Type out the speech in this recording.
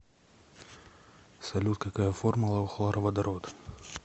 салют какая формула у хлороводород